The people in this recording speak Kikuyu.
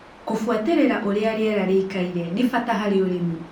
Kũbwatĩrĩra ũria rĩera rĩikaire nĩ bata harĩ ũrĩmi.